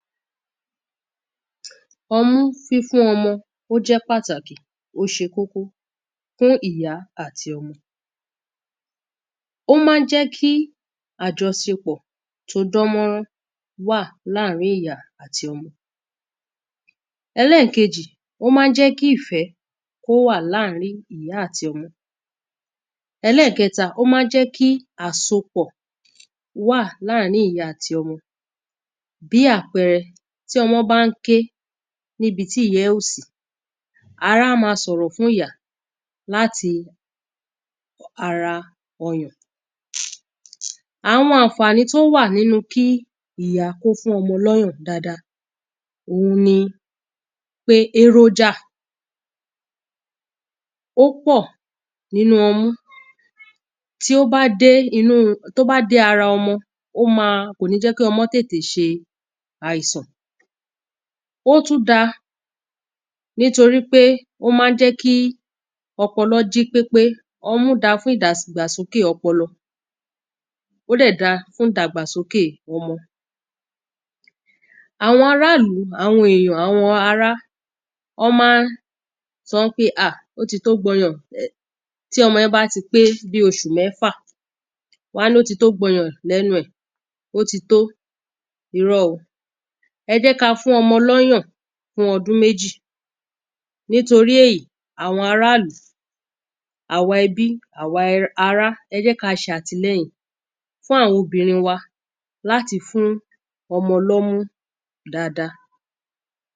Ọmú fífún ọmọ ó jẹ́ pàtàkì ó ṣe kókó fún ìyá àti ọmọ Ó máa ń jẹ́ kí àjọṣepọ̀ tí ó dán mọ́nrán wà ní àárín ìyá àti ọmọ Ẹlẹ́ẹ̀kejì ó máa ń jẹ́ kí ìfẹ́ kí ó wà ní àárín ìyá àti ọmọ Ẹlẹ́ẹ̀kẹ́ta ó máa ń jẹ́ kí àsopọ̀ wà ní àárín ìyá àti ọmọ Bíi àpẹẹrẹ tí ọmọ bá ń ké ní ibi tí ìyá ẹ̀ ò sí ara á ma sọ̀rọ̀ fún ìyá láti ara ọyàn Àwọn àǹfànì tí ó wà nínú kí ìyá kí ó fún ọmọ ní ọyàn dáadáa òun ni pé èròjà ó pọ̀ nínú ọmú Tí ó bá dé inú tí ó bá dé ara ọmọ ó máa kò ní jẹ́ kí ọmọ tètè ṣe àìsàn Ó tú da nítorí pé ó máa ń jẹ́ kí ọpọlọ jí pépé Ọmú da fún ìdàgbàsókè ọpọlọ Ó dẹ̀ dáa fún ìdàgbàsókè ọmọ Àwọn ará ìlú àwọn èyàn àwọn ará wọ́n máa ń sọ pé ah ó ti tó gba ọyàn Tí ọmọ yẹn bá ti pé bíi oṣù mẹ́fà wọ́n á ní ó ti tó gba ọyàn ní ẹnu ẹ̀ Ó ti tó Irọ́ o Ẹ jẹ́ kí á fún ọmọ ní ọyàn fún ọdún méjì Nítorí èyí àwọn ará ìlú àwa ẹ̀bi àwa ará ẹ jẹ́ kí á ṣe àtìlẹ́yìn fún àwọn obìnrin wa láti fún ọmọ ní ọmú dáadáa